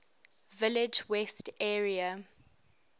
village west area